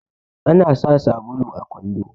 ana sa sabulu a kwando